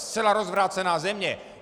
Zcela rozvrácená země.